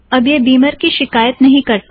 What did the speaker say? अब यह बिमर की शिकायत नहीं करता